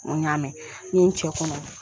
N ko n ɲ'a mɛn n ɲe n cɛ kɔnɔ